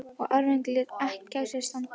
Og árangurinn lét heldur ekki á sér standa.